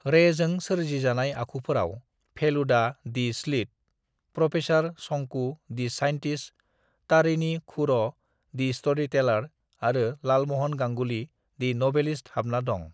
"रेजों सोरजि जानाय आखुफोराव Feluda the sleuth, professor Shonku the scientist, Tarini Khuro the storyteller आरो लालमहन गांगुली दि नभेलिस्त हाबना दं।"